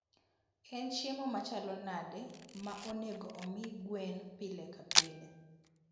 En chiemo machalo nade ma onego omii gwen pile ka pile?